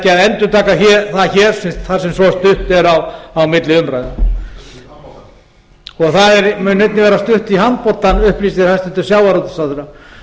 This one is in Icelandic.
að endurtaka það hér þar sem svo stutt er á milli umræðna það mun einnig vera stutt í handboltann upplýsir hæstvirtur sjávarútvegsráðherra